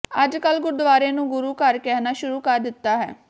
ਅੱਜ ਕਲ੍ਹ ਗੁਰਦੁਆਰੇ ਨੂੰ ਗੁਰੂ ਘਰ ਕਹਿਣਾ ਸ਼ੁਰੂ ਕਰ ਦਿੱਤਾ ਹੈ